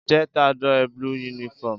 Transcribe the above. je t'adore blue uniform